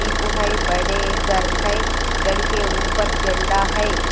इ पोहाई बड़े घर हैं घर के ऊपर झंडा है।